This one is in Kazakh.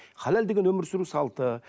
халал деген өмір сүру салты